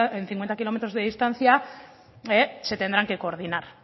en cincuenta kilómetros de distancia se tendrán que coordinar